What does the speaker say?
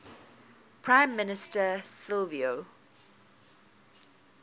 prime minister silvio